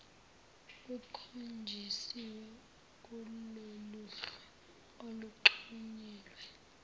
kukhonjisiwe kuloluhlu oluxhunyelwe